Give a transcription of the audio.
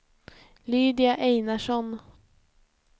Lydia Einarsson